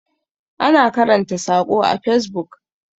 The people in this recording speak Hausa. ana karanta sako a fesbuk